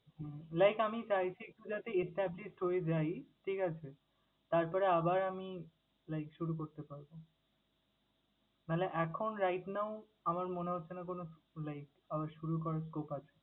হুম Like আমি চাইছি যাতে established হয়ে যাই, ঠিক আছে? তারপরে আবার আমি like শুরু করতে পারব। নাইলে এখন right now আমার মনে হচ্ছে না কোন like আবার শুরু করার scope আছে